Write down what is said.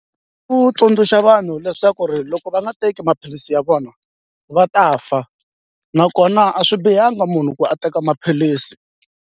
Ku tsundzuxa vanhu leswaku ri loko va nga teki maphilisi ya vona va ta fa nakona a swi bihanga munhu ku a teka maphilisi.